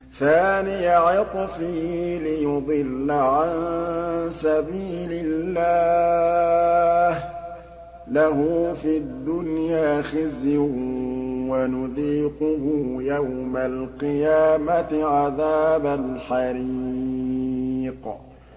ثَانِيَ عِطْفِهِ لِيُضِلَّ عَن سَبِيلِ اللَّهِ ۖ لَهُ فِي الدُّنْيَا خِزْيٌ ۖ وَنُذِيقُهُ يَوْمَ الْقِيَامَةِ عَذَابَ الْحَرِيقِ